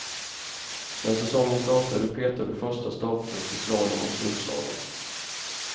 När säsongen startar är du petad ur första startgrupp i slalom och storslalom.